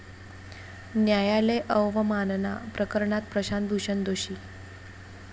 न्यायालय अवमानना प्रकरणात प्रशांत भूषण दोषी